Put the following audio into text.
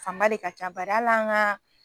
Fanba de ka ca bari ali an ga